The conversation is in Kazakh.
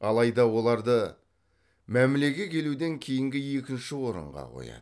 алайда оларды мәмілеге келуден кейінгі екінші орынға қояды